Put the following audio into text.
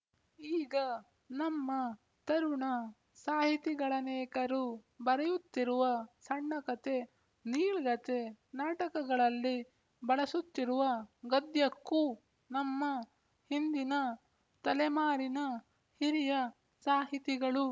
ಈಗ ನಮ್ಮ ತರುಣ ಸಾಹಿತಿಗಳನೇಕರು ಬರೆಯುತ್ತಿರುವ ಸಣ್ಣಕತೆ ನೀಳ್ಗತೆ ನಾಟಕಗಳಲ್ಲಿ ಬಳಸುತ್ತಿರುವ ಗದ್ಯಕ್ಕೂ ನಮ್ಮ ಹಿಂದಿನ ತಲೆಮಾರಿನ ಹಿರಿಯ ಸಾಹಿತಿಗಳು